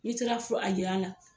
N'i taara fu a yir'a la.